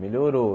Melhorou.